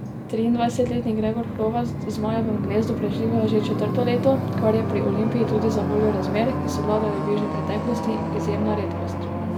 Triindvajsetletni Gregor Hrovat v zmajevem gnezdu preživlja že četrto leto, kar je pri Olimpiji tudi zavoljo razmer, ki so vladale v bližnji preteklosti, izjemna redkost.